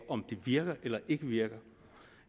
om det virker eller ikke virker